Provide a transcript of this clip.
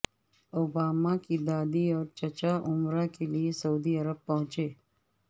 Obama کی دادی اور چچا عمرہ کے لئے سعودی عرب پہنچے